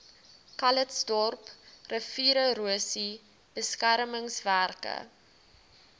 calitzdorp riviererosie beskermingswerke